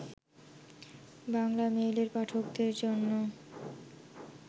বাংলামেইলের পাঠকদের জন্য